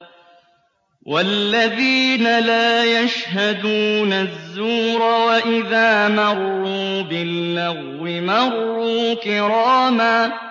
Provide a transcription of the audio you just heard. وَالَّذِينَ لَا يَشْهَدُونَ الزُّورَ وَإِذَا مَرُّوا بِاللَّغْوِ مَرُّوا كِرَامًا